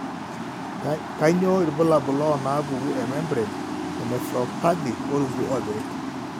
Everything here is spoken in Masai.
Kainyio irbulabul onaapuku emembrane nephropathy orungu opirik?